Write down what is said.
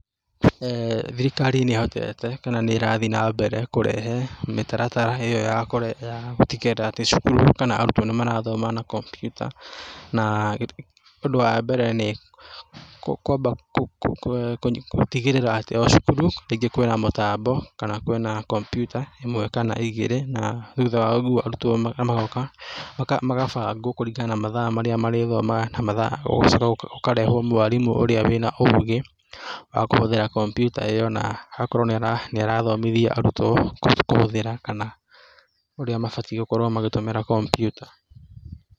Thirikarĩ nĩ ĩhotete kana nĩ ĩrathiĩ na mbere kũrehe mĩtaratara ĩyo ya gũtigĩrĩra atĩ cukuru kana arutwo nĩ marathoma na kompyuta, na ũndũ wa mbere nĩ kwamba gũtigĩrĩra atĩ o cukuru rĩngĩ kwĩna mũtambo kana kwĩna kompyuta ĩmwe kana igĩrĩ, na thutha wa ũguo arutwo magoka magabangwo kũringana na mathaa marĩa marĩthomaga mathaa, gũgacoka gũkarehwo mwarimũ ũrĩa wĩna ũũgĩ wa kũhũthĩra kompiuta ĩyo na agakorwo nĩ arathomithia arutwo kũhũthĩra kana ũrĩa mabatiĩ gũkorwo magĩtũmĩra kompiuta.